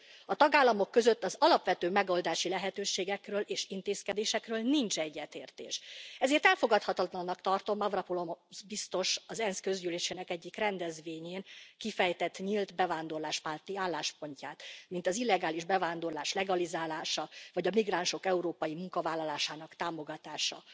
A tagállamok között az alapvető megoldási lehetőségekről és intézkedésekről nincs egyetértés, ezért elfogadhatatlannak tartom Avramopulosz biztos az ENSZ közgyűlésének egyik rendezvényén kifejtett nyílt bevándorláspárti álláspontját, mint az illegális bevándorlás legalizálása vagy a migránsok európai munkavállalásának támogatása,